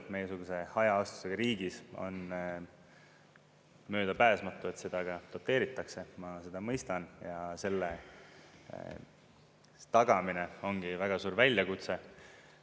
Meiesuguse hajaasustusega riigis on möödapääsmatu, et seda ka doteeritakse, ma seda mõistan, ja selle tagamine ongi väga suur väljakutse.